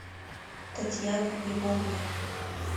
татьяна львовна